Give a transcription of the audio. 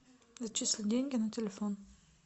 зачисли деньги на телефон